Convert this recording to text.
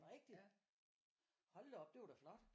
Er det rigtigt hold da op det var da flot